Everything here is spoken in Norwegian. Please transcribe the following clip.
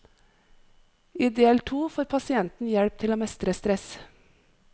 I del to får pasienten hjelp til å mestre stress.